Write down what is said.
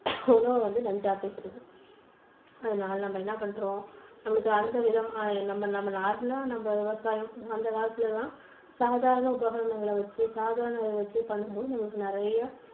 உணவை வந்து நஞ்சாக்குகிறது. அதுனால நம்ம என்ன பண்றோம்? நமக்கு அந்த விதமான நம்ம நம்ம normal லா நம்ம விவசாயம் அந்த காலத்துல எல்லாம் சாதாரண உபகரணங்கள் வச்சு சாதாரணத வச்சு பண்ணும்போது நம்மளுக்கு நிறைய